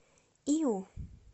иу